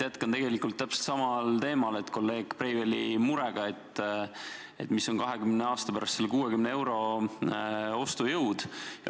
Jätkan tegelikult täpselt samal teemal, kolleeg Breiveli murega, et milline on 20 aasta pärast 60 euro ostujõud.